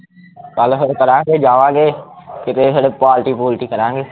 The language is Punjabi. ਕੱਲ ਫਿਰ ਕਲਾਂ ਕੇ ਜਾਵਾਂਗੇ ਕਿਤੇ ਫਿਰ ਪਾਲਟੀ ਪੂਲਟੀ ਕਰਾਂਗੇ